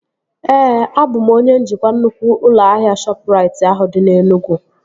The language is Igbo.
Ee, abụ m onye njikwa nnukwu ụlọ ahịa Shọpụrait ahụ dị na Enugwu